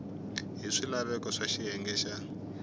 hi swilaveko swa xiyenge xa